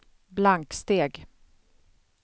blanksteg